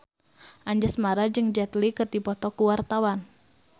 Anjasmara jeung Jet Li keur dipoto ku wartawan